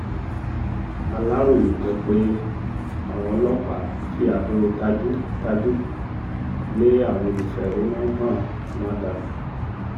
aláròye gbọ́ pé àwọn ọlọ́pàá fi àdó tajú-tajú lé àwọn olùfẹ̀hónú hàn náà dànù